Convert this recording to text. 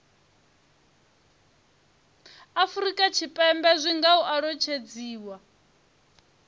afurika tshipembe zwi nga alutshedziwa